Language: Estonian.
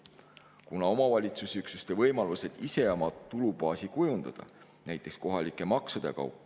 Kuna omavalitsusüksuste võimalused ise oma tulubaasi kujundada, näiteks kohalike maksude kaudu …